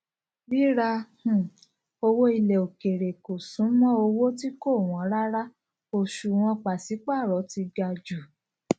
ríra um owó ilẹ òkèèrè kò súnmọ owó tí kò wọn rárá òṣùwọn pàṣípààrọ ti ga jù